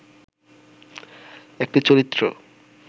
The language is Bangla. একটি চরিত্র